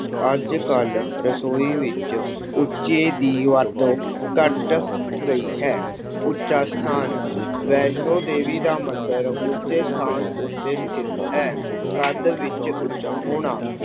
ਅੱਜ ਕੱਲ੍ਹ ਰਸੋਈ ਵਿੱਚ ਉੱਚੇ ਦੀ ਵਰਤੋਂ ਘੱਟ ਗਈ ਹੈ। ਉੱਚਾ ਸਥਾਨ- ਵੈਸ਼ਨੋ ਦੇਵੀ ਦਾ ਮੰਦਿਰ ਉੱਚੇ ਸਥਾਨ ਉੱਤੇ ਸਥਿਤ ਹੈ। ਕੱਦ ਵਿਚ ਉੱਚਾ ਹੋਣਾ-